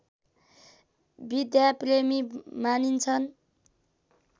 विद्याप्रेमी मानिन्छन्